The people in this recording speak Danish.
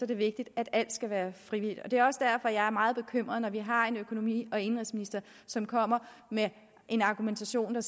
det vigtigt at alt skal være frivilligt det er også derfor at jeg er meget bekymret når vi har en økonomi og indenrigsminister som kommer med en argumentation